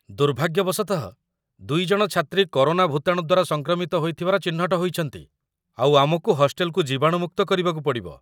ଦୁର୍ଭାଗ୍ୟବଶତଃ, ଦୁଇଜଣ ଛାତ୍ରୀ କରୋନା ଭୁତାଣୁ ଦ୍ୱାରା ସଂକ୍ରମିତ ହୋଇଥିବାର ଚିହ୍ନଟ ହୋଇଛନ୍ତି, ଆଉ ଆମକୁ ହଷ୍ଟେଲକୁ ଜୀବାଣୁମୁକ୍ତ କରିବାକୁ ପଡ଼ିବ